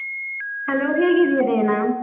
Hello ಹೇಗಿದ್ಯಾ Diana?